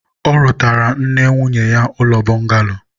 ọ rụtaara nne nwunye ya ụlọ bọngalo